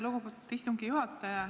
Lugupeetud istungi juhataja!